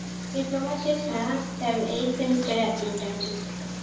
diploma শেষ না eighth semester এ আছি, intern চলতেসে